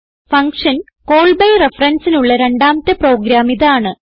function call B referenceനുള്ള രണ്ടാമത്തെ program ഇതാണ്